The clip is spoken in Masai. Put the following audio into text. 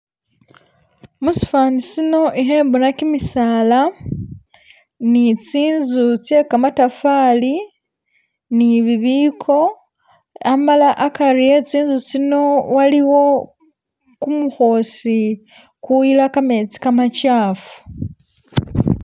Musifani sino ikhembona kimisaala nitsinzu tse kamatafali nibibiko amala akari e tsi'nzu tsino waliwo kumu khoosi kuyila kametsi kamakyafu